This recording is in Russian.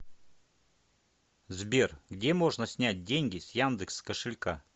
сбер где можно снять деньги с яндекс кошелька